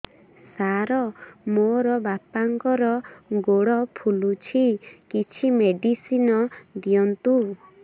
ସାର ମୋର ବାପାଙ୍କର ଗୋଡ ଫୁଲୁଛି କିଛି ମେଡିସିନ ଦିଅନ୍ତୁ